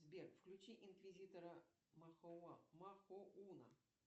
сбер включи инквизитора махоуна